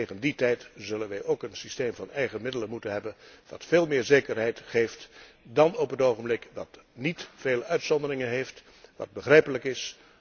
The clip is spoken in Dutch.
Tegen die tijd zullen wij ook een systeem van eigen middelen moeten hebben dat veel meer zekerheid geeft dan nu, dat niet veel uitzonderingen heeft en dat begrijpelijk is.